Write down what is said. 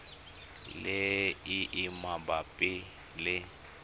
le e e mabapi le